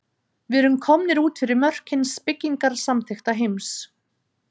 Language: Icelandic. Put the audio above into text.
Við erum komnir út fyrir mörk hins byggingarsamþykkta heims.